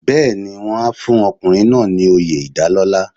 Bẹ́ẹ̀ni, wọ́n á fún ọkùnrin náà ní oyè ìdálọ́lá.